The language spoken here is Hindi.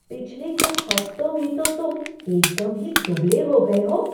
पिछले कुछ हफ्तों में तो तुम एकदम ही दुबले हो गए हो!